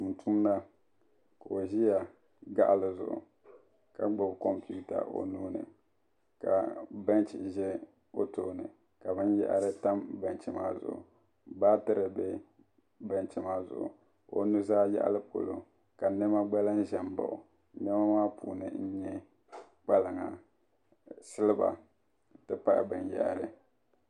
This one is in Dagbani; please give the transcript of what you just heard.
tumtumda ka o ʒi gaɣali zuɣu ka gbubi kompiuta o nuuni ka bɛnch ʒɛ o tooni ka binyahari tam bɛnch maa zuɣu baatiri bɛ bɛnch maa zuɣu o nuzaa yaɣali ka shɛli gba lahi ʒɛ n baɣa o niɛma puuni n nyɛ kpalaŋa siliba n ti pahi binyahari